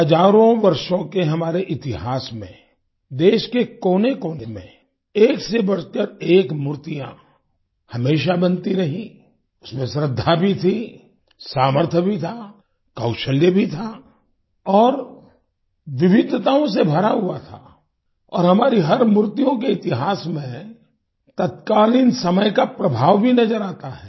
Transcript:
हजारों वर्षों के हमारे इतिहास में देश के कोनेकोने में एकसेबढ़कर एक मूर्तियां हमेशा बनती रहीं इसमें श्रद्धा भी थी सामर्थ्य भी था कौशल्य भी था और विवधताओं से भरा हुआ था और हमारे हर मूर्तियों के इतिहास में तत्कालीन समय का प्रभाव भी नज़र आता है